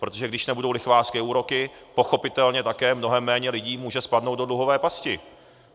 Protože když nebudou lichvářské úroky, pochopitelně také mnohem méně lidí může spadnout do dluhové pasti.